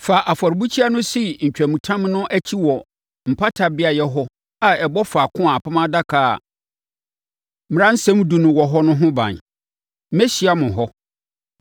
Fa afɔrebukyia no si ntwamutam no akyi wɔ mpata beaeɛ hɔ a ɛbɔ faako a Apam Adaka a Mmaransɛm Edu no wɔ hɔ no ho ban. Mɛhyia mo hɔ.